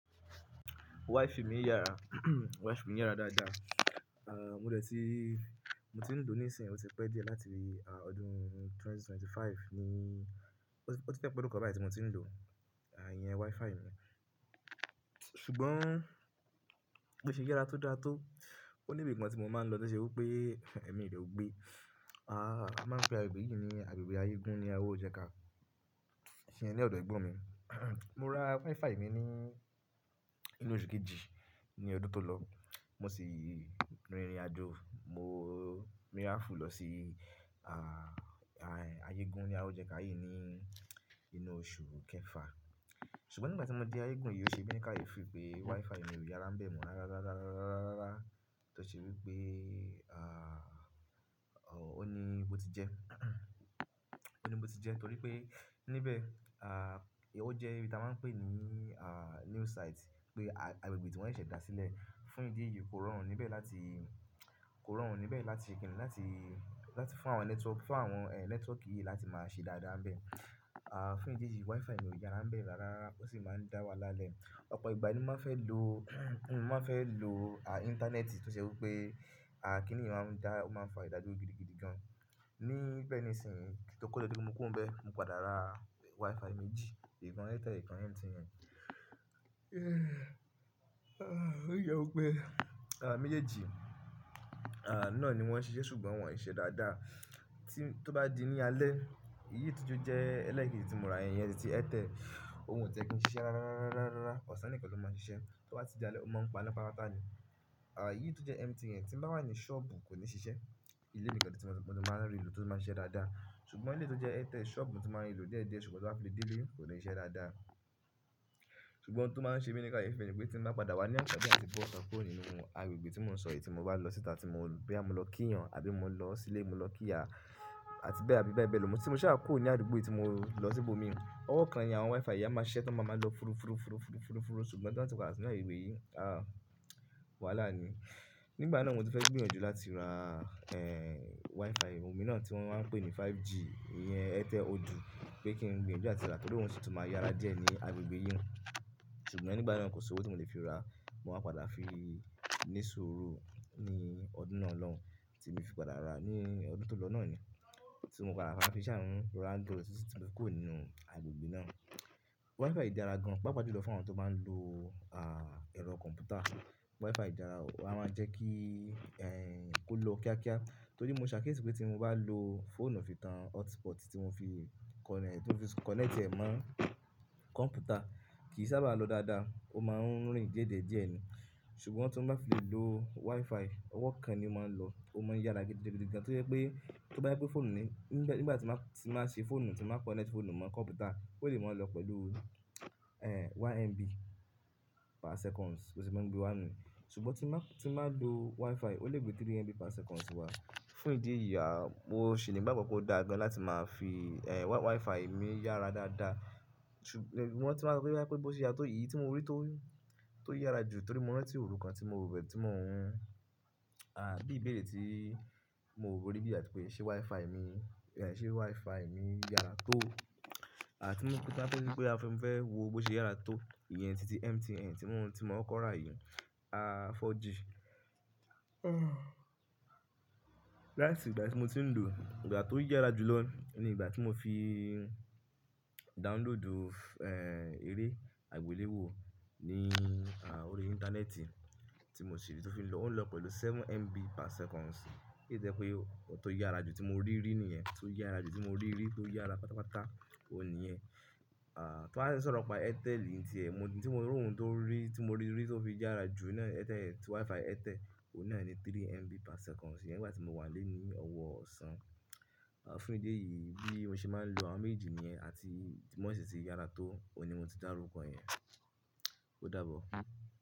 Wi-Fi mi ń yára, Wi-Fi mi ń yára dáadáa. À, mo dẹ̀ ti, mo ti ń lò ó ní ìsìn, ó ti pẹ́ díẹ̀ láti ọdún ẹgbẹ̀rún méjì ó lé ẹ́ẹ́dọ́gbọ̀n, ní, ó ti fẹ́ pé ọdún kan báyìí tí mo ti ń lò, à, ìyẹn Wi-Fi mi. Ṣùgbọ́n ó ṣe yára tó dáa tó. Ó ní ibi kan tí mo máa ń lọ tí ó ṣe wí pé ẹ̀mí rẹ ogbé. A máa ń pe agbègbè yìí ní agbègbè Ayégún ní Awojẹ́ka. Ṣé ni ọ̀dọ̀ ẹgbọn mi. Mo ra Wi-Fi mi ní inú oṣù kejì ní ọdún tó lọ, mo sì rìn ìrìnàjò, mo miranfu lọ sí, à, Ayégún ní Awójẹ́ka yìí ní inú oṣù kẹfà. Ṣùgbọ́n nígbà tí mo dé Ayégún yìí ó ṣe bí i kayefi pé Wi-Fi mi ò yára bẹ̀ mọ́ rárá, rárá, rárá, rárá, rárá, rárá tó ṣe wí pé, à, òh, ó ní bo ti jẹ. Ó ní bo ti jẹ, torí pé níbẹ̀, à, ó jẹ́ ohun tí a máa ń pè ní, à, new site pé agbègbè tí wọ́n ṣẹ̀ dá sílẹ̀. Fún ìdí èyí kò rọrùn níbẹ̀ láti, kò rọrùn níbẹ̀ láti kíni láti, láti fún àwọn network, fún àwọn, ẹ, network yìí láti máa ṣe dáadáa bẹ̀. À, fún ìdí èyí Wi-Fi ò yára bẹ̀ rárá, ó sì máa ń dá wa lálẹ́. Ọ̀pọ̀ ìgbà ni mo máa fẹ́ lo, mo máa fẹ́ lo, à, ìntanẹ́ẹ̀tì tó ṣe wí pé, à, kí nìyẹn máa ń dá, ó máa ń fa ìdádúró gidigidi gan. Ní bẹ́ẹ̀ ní ìsìn tó ko tí mo kú ro n bẹ, mo padà ra Wi-Fi méjì, ìkan Airtel, ìkan MTN. Ó yẹ wí pé, à, méjèèjì, à, náà ni wọ́n ṣe iṣẹ́ ṣùgbọ́n wọ́n ò ṣe dáadáa. Tí, tó bá di ní alẹ́, èyí tó jọ jẹ́ ẹlẹ́ẹ̀kejì tí mo ra, ẹ̀yin yẹn ni tí Airtel, òun ò tẹ́ kí n ṣiṣẹ́ rárá, rárá, rárá, rárá, rárá, ọ̀sán nìkan ló máa ń ṣiṣẹ́. Tó bá ti di alẹ́ ó máa ń paná pátápátá ni. À, èyí tó jẹ́ MTN yẹn tí ń bá wà ní ṣọ́ọ̀bù kò ní ṣiṣẹ́. Ìlé nìkan tí mo ti máa ń rí i lò tó máa ń ṣiṣẹ́ dáadáa. Ṣùgbọ́n èyí tó jẹ́ Airtel ṣọ́ọ̀bù tí mo máa ń lò díẹ̀díẹ̀ ṣùgbọ́n tó bá fi lẹ́dìí lé kò ní ṣe dáadáa. Ṣùgbọ́n óun to máa ń ṣe mí ní kayefi ni pé tí mo bá padà wá ní anfààní àti b'ọta kuro ní nínú agbègbè tí mò ń sọ èyí tí mo bá lọ síta tí mo bá lọ kí ìyàn àbí mo lọ sílé, mo lọ kí ìyá àti bẹ́ẹ̀, àbí bẹ́ẹ̀ bẹ́ẹ̀ lọ. Tí mo ṣa kúrò nú àdúgbò tí mo lọ síbò mi, ọwọ́ kan ni àwọn Wi-Fi yẹn máa ṣẹ́ tí ọmọ máa ń lọ fúru, fúru, fúru, fúru, fúru, fúru ṣùgbọ́n tí bá tí pada sínú agbegbe yìí, à, wàhálà ni. Nígbà náà ni mo ti fẹ́ gbìyànjú láti ra, ẹ, Wi-Fi, òun mi náà tí wọ́n máa ń pè ní 5G, ìyẹn Airtel odu pé kí n gbìyànjú láti ra torí òun sì tún máa yára díẹ̀ ní agbègbè yìí. Ṣùgbọ́n nígbà náà kò sí owó tí mo lè fi ra, mo máa padà fi ní sùúrù ní ọdún náà lọ́hùn, tí mo fi padà ra ní ọdún tó lọ náà ni, tí mo padà bá fi ṣáa ń ra nítorí tí mo kù nínú agbègbè náà. Wi-Fi di ara gan, pápa jùlọ fún àwọn tó bá n lo, à, ẹ̀rọ kọ̀m̀pútà. Wi-Fi dara, ó máa ń jẹ́ kí, ẹ, ó lo kíákíá torí mo ṣàkíyèsí pé tí mo bá lo fóònù fi tan hotspot tí mo fi connect, tí mo fi connect ẹ̀ mọ́ kọ̀m̀pútà kì í sábà lọ dáadáa, ó máa ń rìn díẹ̀ díẹ̀ díẹ̀ ni. Ṣùgbọ́n tí wọ́n bá fi lo Wi-Fi, ọwọ́ kan ni ó máa ń lọ, ó máa ń yára gidigidi gan tí ó jẹ́ pé tó bá jẹ́ pé fóònù ní, nígbà tí máa, tí máa ṣe fóònù, tí máa connect fóònù mọ́ kọ̀m̀pútà kò lè mọ̀ ọ́n lọ pẹ̀lú, ẹ, one MB per seconds, bó se máa ń gbé wá nú. Ṣùgbọ́n tí báa, tí báa lo Wi-Fi ó lè gbé three MB per seconds wá. Fún ìdí èyí, a, mo ṣì ní ìgbàgbọ́ pé ó dáa gan láti máa fi, ẹ, Wi-Fi mi yára dáadáa. Ṣùgbọ́n tí wọ́n bá rí pé bó ṣe yára tó, èyí tí mo rí tó, tó yára jù torí mo rántí òru kan tí mo rọ̀ bẹ́ẹ̀ tí mò ń, à, bí i ìbéèrè tí mo rí bíi àti pé ṣé Wi-Fi mi, ẹ, ṣé Wi-Fi mi yára tó? À, tí mo kó tan pẹ́lú pé a fẹ́ wò bó ṣe yára tó, ìyẹn ti, ti MTN tí mò ń, tí mò ń kọ́ra yìí, a, 4G. Látìgbà tí mo ti ń lò ó, ìgbà tó yára jù lọ ni ìgbà tí mo fi download, ẹ, eré àgbéléwò ní, à, orí Íńtánẹ́ẹ̀tì tí mo ṣè rí tó fi ń lọ, ó ń lọ pẹ̀lú seven MB per seconds. Eléyìí tẹ́ pé ó tó yára jù tí mo rí rí níyẹn, tó yára jù tí mo rí rí, tó yára pátápátá, òun nìyẹn. À, tó bá sọ̀rọ̀ pa Airtel ìyẹn ti ẹ̀, mo rí, tí mo rí òun tó rí, tí mo rí rí tó fi yára jù náà, Airtel, Wi-Fi Airtel òun náà ni three MB per seconds nígbà tí mo wà lẹ́yìn ọwọ́ òsán. À, fún ìdí èyí bí i ohun ṣe máa ń lo àwọn méjì níyẹn àti tí mo sì ti yára tó, òun ni mo ti dárúkọ ẹ̀yẹn. Ó dàbọ̀.